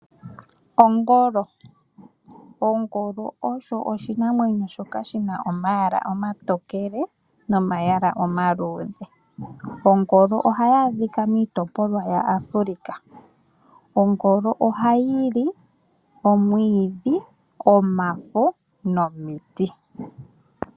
Ongolo! Ongolo osho oshinamwenyo shoka shina omayala omatokele nomayala omaluudhe. Ongolo ohayi adhika miitopolwa ya Afrika. Ongolo ohayi li omwiidhi, omafo nomiti.